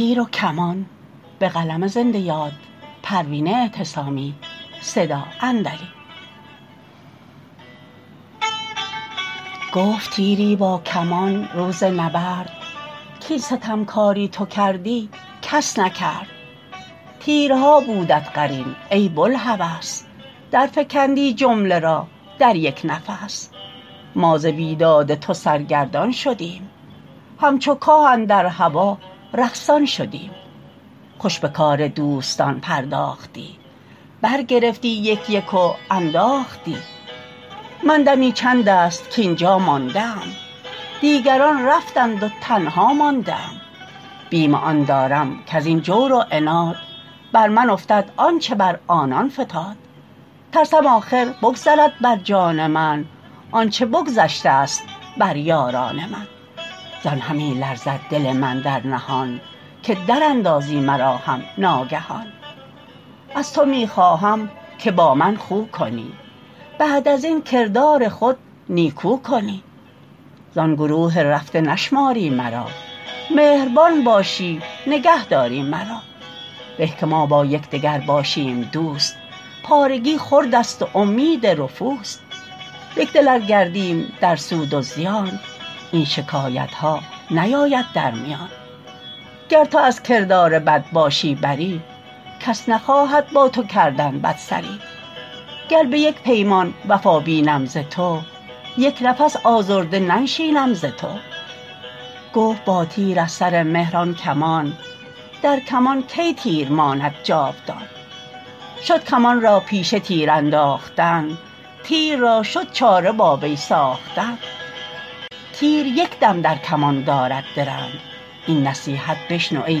گفت تیری با کمان روز نبرد کاین ستمکاری تو کردی کس نکرد تیرها بودت قرین ای بوالهوس در فکندی جمله را در یک نفس ما ز بیداد تو سرگردان شدیم همچو کاه اندر هوا رقصان شدیم خوش بکار دوستان پرداختی بر گرفتی یک یک و انداختی من دمی چند است کاینجا مانده ام دیگران رفتند و تنها مانده ام بیم آن دارم کازین جور و عناد بر من افتد آنچه بر آنان فتاد ترسم آخر بگذرد بر جان من آنچه بگذشتست بر یاران من زان همی لرزد دل من در نهان که در اندازی مرا هم ناگهان از تو میخواهم که با من خو کنی بعد ازین کردار خود نیکو کنی زان گروه رفته نشماری مرا مهربان باشی نگهداری مرا به که ما با یکدگر باشیم دوست پارگی خرد است و امید رفوست یکدل ار گردیم در سود و زیان این شکایت ها نیاید در میان گر تو از کردار بد باشی بری کس نخواهد با تو کردن بدسری گر بیک پیمان وفا بینم ز تو یک نفس آزرده ننشینم ز تو گفت با تیر از سر مهر آن کمان در کمان کی تیر ماند جاودان شد کمان را پیشه تیر انداختن تیر را شد چاره با وی ساختن تیر یکدم در کمان دارد درنگ این نصیحت بشنو ای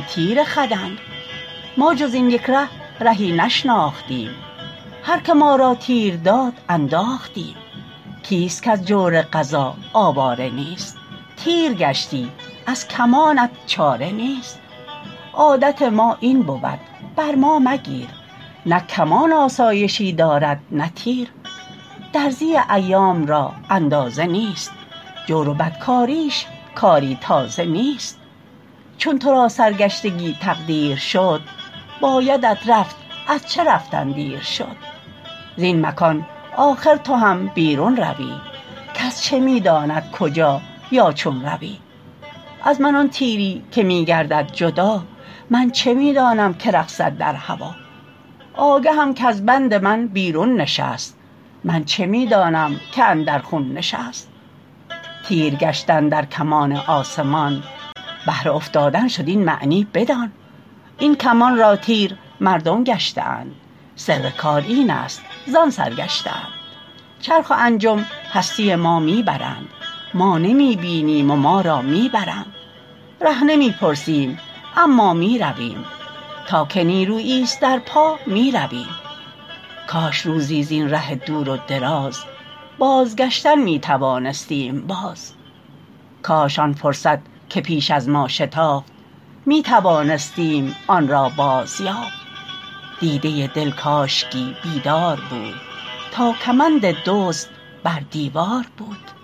تیر خدنگ ما جز این یک ره رهی نشناختیم هر که ما را تیر داد انداختیم کیست کاز جور قضا آواره نیست تیر گشتی از کمانت چاره نیست عادت ما این بود بر ما مگیر نه کمان آسایشی دارد نه تیر درزی ایام را اندازه نیست جور و بد کاریش کاری تازه نیست چون ترا سر گشتگی تقدیر شد بایدت رفت ار چه رفتن دیر شد زین مکان آخر تو هم بیرون روی کس چه میداند کجا یا چون روی از من آن تیری که میگردد جدا من چه میدانم که رقصد در هوا آگهم کاز بند من بیرون نشست من چه میدانم که اندر خون نشست تیر گشتن در کمان آسمان بهر افتادن شد این معنی بدان این کمان را تیر مردم گشته اند سر کار اینست زان سر گشته اند چرخ و انجم هستی ما میبرند ما نمی بینیم و ما را میبرند ره نمی پرسیم اما میرویم تا که نیروییست در پا میرویم کاش روزی زین ره دور و دراز باز گشتن میتوانستیم باز کاش آن فرصت که پیش از ما شتافت میتوانستیم آنرا باز یافت دیده دل کاشکی بیدار بود تا کمند دزد بر دیوار بود